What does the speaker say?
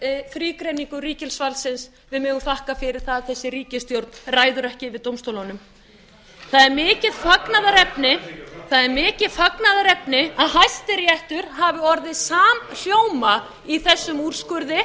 fyrir þrígreiningu ríkisvaldsins við megum þakka fyrir það að þessi ríkisstjórn ræður ekki yfir dómstólunum það er mikið fagnaðarefni það er mikið fagnaðarefni að hæstiréttur hafi búið samhljóma í þessum úrskurði